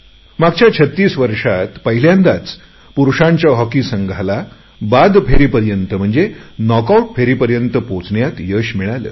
मागच्या 36 वर्षात पहिल्यांदाच पुरुषांच्या हॉकी संघाला नॉक आऊट फेरीपर्यंत पोहचण्यात सफलता मिळाली